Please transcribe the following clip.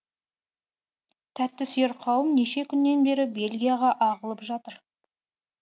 тәттісүйер қауым неше күннен бері бельгияға ағылып жатыр